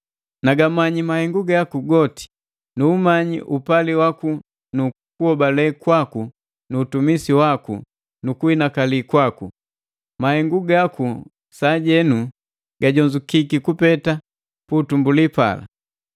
Nagamanyi mahengu gaku goti. Nu umanyi upali waku nu kuhobale kwaku nu utumisi waku nu kuinakali kwaku. Mahengu gaku sajenu gajonzukiki kupeta pu utumbuli pala.